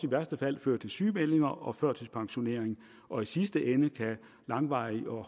værste fald føre til sygemeldinger og førtidspensionering og i sidste ende kan langvarig og